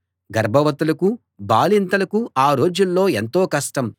గర్భవతులకూ బాలింతలకూ ఆ రోజుల్లో ఎంతో కష్టం